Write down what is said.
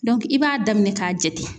i b'a daminɛ k'a jate.